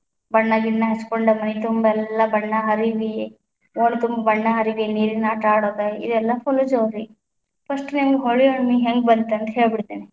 ಬಣ್ಣಗಿಣ್ಣ ಹಚ್ಚಕೊಂಡ ಮೈತುಂಬ ಎಲ್ಲಾ ಬಣ್ಣ ಹರಿವಿ, ಓಣಿತುಂಬ ಬಣ್ಣ ಹರಿವಿ ನೀರಿನ ಆಟ ಆಡೋದ ಇದೆಲ್ಲಾ full ಜೋರ್ರಿ first ನಿಮ್ಗ ಹೋಳಿ ಹುಣ್ಣಿಮೆ ಹೆಂಗ ಬಂತೆಂತ ಹೇಳ್ಬಿಡ್ತೀನಿ.